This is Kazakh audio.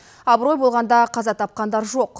абырой болғанда қаза тапқандар жоқ